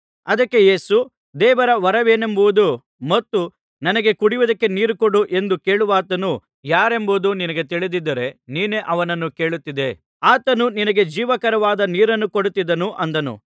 ಅದಕ್ಕೆ ಯೇಸು ದೇವರ ವರವೇನೆಂಬುದೂ ಮತ್ತು ನನಗೆ ಕುಡಿಯುವುದಕ್ಕೆ ನೀರು ಕೊಡು ಎಂದು ಕೇಳುವಾತನು ಯಾರೆಂಬುದೂ ನಿನಗೆ ತಿಳಿದಿದ್ದರೆ ನೀನೇ ಅವನನ್ನು ಕೇಳುತ್ತಿದ್ದೆ ಆತನು ನಿನಗೆ ಜೀವಕರವಾದ ನೀರನ್ನು ಕೊಡುತ್ತಿದ್ದನು ಅಂದನು